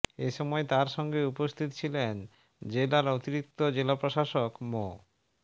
এ সময় তাঁর সঙ্গে উপস্থিত ছিলেন জেলার অতিরিক্ত জেলা প্রশাসক মো